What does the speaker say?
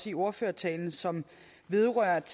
i ordførertalen som vedrørte